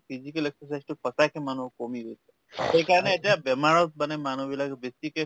physical exercise টো সঁচাকে মানুহৰ কমি গৈছে সেইকাৰণে এতিয়া বেমাৰত মানে মানুহবিলাক বেছিকে